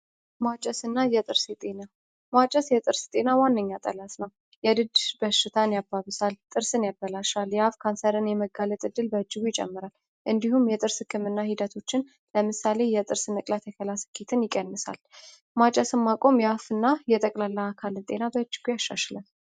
የድጅሽ በሽታን ያባብሳል ጥርስን ያበላሻል ካንሰርን የመጋለጥ እድል ይጨምራል እንዲሁም የጥርስ ህክምና ሂደቶችን ለምሳሌ የጥርስ መቅጣት የከላስኬትን ይቀንሳል። እና የጠቅላላ አካል ጤና